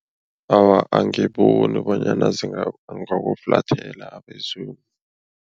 Awa, angiboni bonyana bangakuflathela abezimu.